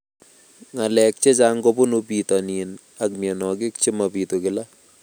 Ng'alek chechang' kopunu pitonin ako mianwogik che mapitu kila